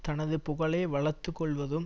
தனது புகழை வளர்த்து கொள்வதும்